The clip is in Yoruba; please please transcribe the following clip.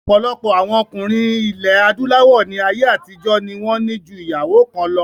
Ọ̀pọ̀lọpọ̀ àwọn ọkùnrin ilẹ̀ adúláwọ̀ ní ayé àtijọ́ ní wọ́n ní ju ìyàwó kan lọ